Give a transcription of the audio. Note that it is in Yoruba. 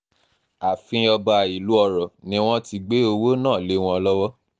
ààfin ọba ìlú ọrọ̀ ni wọ́n ti gbé owó náà lé wọn lọ́wọ́